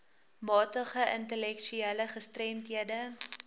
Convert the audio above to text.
matige intellektuele gestremdhede